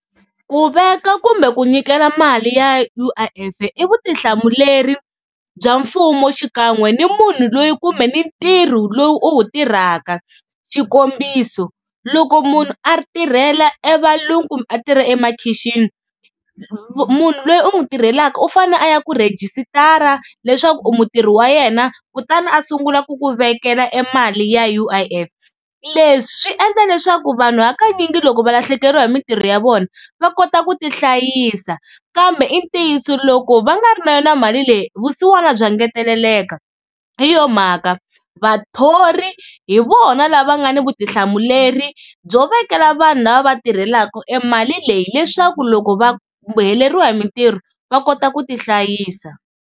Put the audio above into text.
Ku veka kumbe ku nyikela mali ya U_I_F i vutihlamuleri bya mfumo xikan'we ni munhu loyi kumbe ni ntirho lowu u wu tirhaka, xikombiso loko munhu a ri tirhela e valungu kumbe a tirha emakhixini munhu loyi u n'wi tirhelaka u fane a ya ku rhejisitara leswaku u mutirhi wa yena kutani a sungula ku ku vekela e mali ya U_I_F. Leswi swi endla leswaku vanhu hakanyingi loko va lahlekeriwa hi mintirho ya vona va kota ku tihlayisa kambe i ntiyiso loko va nga ri na yona mali leyi vusiwana bya engeteleka. Hi yo mhaka vathori hi vona lava nga na vutihlamuleri byo vekela vanhu lava va tirhelaka e mali leyi leswaku loko va va heleriwa hi mintirho va kota ku tihlayisa.